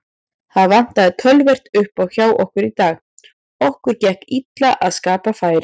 Það vantaði töluvert uppá hjá okkur í dag, okkur gekk illa að skapa færi.